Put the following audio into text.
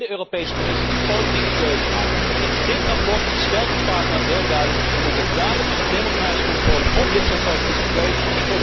Alleen de Europese Commissie die politieke keuzes maakt. In dit verslag stelt het Parlement heel duidelijk we moeten duidelijkere democratische controle op dit soort politieke keuzes.